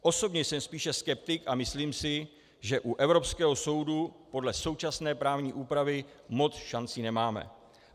Osobně jsem spíše skeptik a myslím si, že u Evropského soudu podle současné právní úpravy moc šancí nemáme.